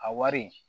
A wari